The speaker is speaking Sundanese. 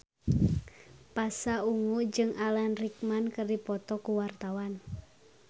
Pasha Ungu jeung Alan Rickman keur dipoto ku wartawan